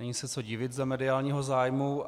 Není se co divit za mediálního zájmu.